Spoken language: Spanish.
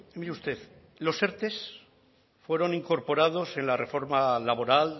mire usted los erte fueron incorporados en la reforma laboral